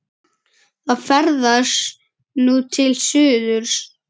Það ferðast nú til suðurs.